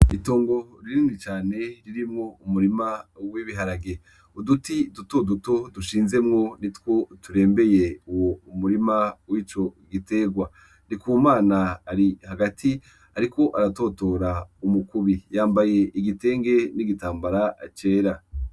Itongo ririni cane ririmwo umurima w'ibiharage uduti dutoduto dushinzemwo ni two turembeye uwo umurima w'ico giterwa rikumana ari hagati, ariko aratotora umukubi yambaye igitenge n'igitambara acera.